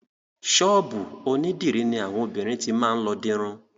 Ṣọ́ọ̀bù onídìrí ní àwọn obìnrin ti máa lọ dirun.